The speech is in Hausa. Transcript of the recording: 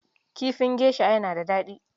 Kifin gesha yana daɗi.